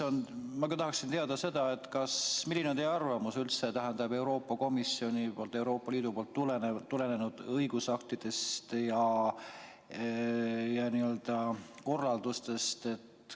Ma tahaksin teada seda, milline on teie arvamus üldse Euroopa Komisjoni poolt, Euroopa Liidu poolt tulnud õigusaktidest ja korraldustest.